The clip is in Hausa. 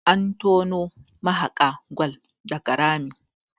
an tono mahaka gwal daga Rami